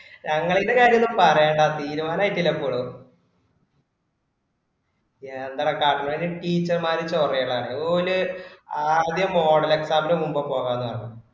നങ്ങളീൻ്റെ കാര്യം ഒന്നും പറയണ്ട തീരുമാനം ആയറ്റില ഇപ്പോളും എന്തെടാ കണ്ടാല് teacher മാരെ ചൊറയലാന്ന് ഓല് ആദ്യം model exam ൻ്റെ മുമ്പ് പോകാ പറഞ്